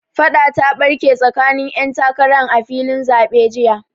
Faɗa ta ɓarke tsakanin 'yan takaran a filin zaɓe jiya.